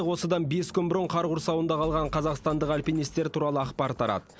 осыдан бес күн бұрын қар құрсауында қалған қазақстандық альпинистер туралы ақпар тарады